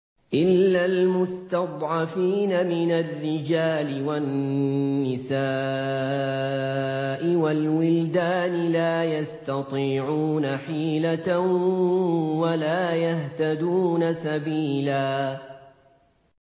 إِلَّا الْمُسْتَضْعَفِينَ مِنَ الرِّجَالِ وَالنِّسَاءِ وَالْوِلْدَانِ لَا يَسْتَطِيعُونَ حِيلَةً وَلَا يَهْتَدُونَ سَبِيلًا